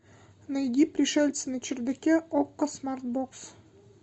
найди пришельцы на чердаке окко смарт бокс